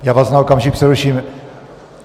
Já vás na okamžik přeruším.